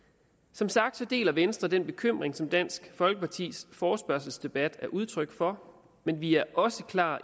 som sagt deler venstre den bekymring som dansk folkepartis forespørgselsdebat er udtryk for men vi også klar